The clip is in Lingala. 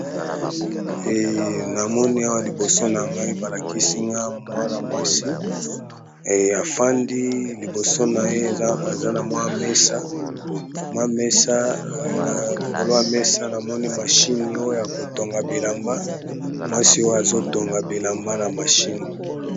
Namoni awa liboso na ngai balakisinga mwana mwasi afandi. Liboso na ye eza na mesa namoni mashini oyo ya kotonga bilamba mwasi oyo azotonga bilamba.